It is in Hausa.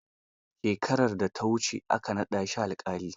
Shekarar da ta wuce aka naɗa shi alƙali.